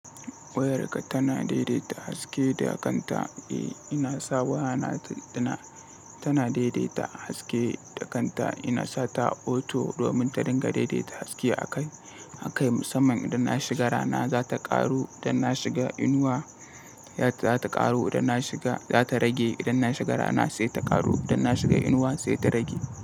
Wayarka tana daidaita haske da kanta. Eh, ina sa waya na tana, tana daidaita haske da kanta. Ina sa ta auto domin ta dinga daidaita haske akai, akai musamman idan na shiga rana za ta ƙaru, idan na shiga inuwa za ta ƙaru, idan na shiga, za ta rage. Idan na shiga rana sai ta ƙaru, idan na shiga inuwa sai ta rage.